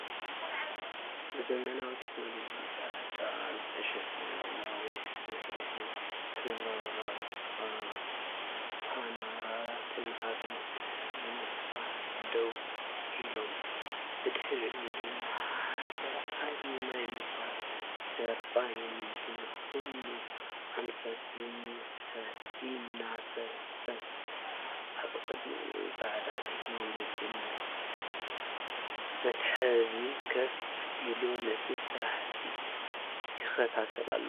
ብዘመናዊ ቴክኖሎጂ ጸዓት ዝተዓሸገ። ነዊሕ መስርዕ ሶላር ፓነላት ኣብ ምትሕንፋጽ ደው ኢሎም፣ ብድሕሪኦም ድማ ሓደ ዓቢ ናይ ንፋስ ተርባይን ብኹሉ ኣንፈት ይንሳፈፍ። ኣብ ቅድሚት ጻዕዳ ቴክኒካዊ መትሓዚ ኮፍ ኢሉ ነቲ ስርሒት ይከታተሎ።